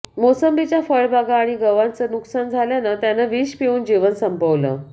मोसंबीच्या फळबागा आणि गव्हाचं नुकसान झाल्यानं त्यानं विष पिऊन जीवन संपवलं